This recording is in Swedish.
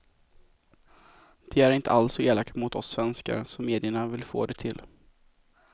De är inte alls så elaka mot oss svenskar som medierna vill få det till.